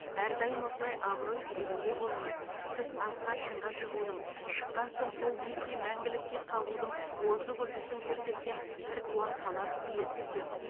әрдайым осылай абырой биігінде болыңыз сіз асқар шыңға шығудың шыққан соң сол биікте мәңгілікке қалудың озық үлгісін көрсеткен біртуар талант иесісіз